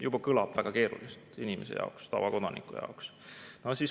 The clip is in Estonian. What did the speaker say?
Juba kõlab väga keeruliselt inimese jaoks, tavakodaniku jaoks.